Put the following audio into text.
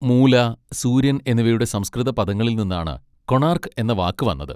മൂല, സൂര്യൻ എന്നിവയുടെ സംസ്കൃത പദങ്ങളിൽ നിന്നാണ് 'കൊണാർക്ക്' എന്ന വാക്ക് വന്നത്.